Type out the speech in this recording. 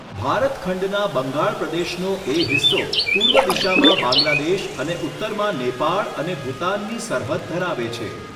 ભારત ખંડના બંગાળ પ્રદેશનો એ હિસ્સો પૂર્વ દિશામાં બાંગ્લાદેશ અને ઉત્તરમાં નેપાળ અને ભૂતાનની સરહદ ધરાવે છે.